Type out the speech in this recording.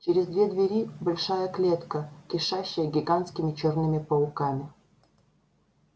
через две двери большая клетка кишащая гигантскими чёрными пауками